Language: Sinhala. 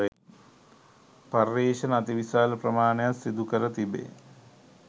පර්යේෂණ අති විශාල ප්‍රමාණයක් සිදු කර තිබේ